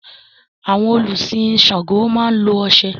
Àwọn olùsin Ṣàngó máa lo oṣé.